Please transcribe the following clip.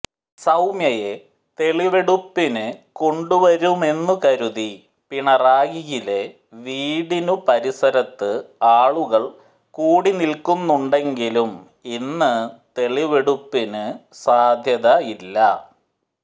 സൌമ്യയെ തെളിവെടുപ്പിനു കൊണ്ടു വരുമെന്നു കരുതി പിണറായിയിലെ വീടിനു പരിസരത്ത് ആളുകള് കൂടി നില്ക്കുന്നുണ്ടെങ്കിലും ഇന്നു തെളിവെടുപ്പിനു സാധ്യതയില്ല